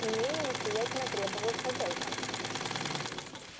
имению настоятельно требовалась хозяйка